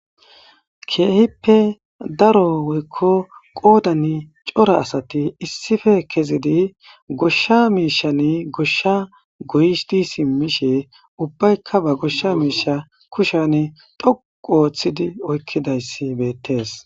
keehippe daro woykko qoodan cora asati issife kezidi goshsha miishan goshsha goyishdi simmishe ubbaykka ba goshsha miisha kushan dhoqu ooththidi oykkidayssi beettees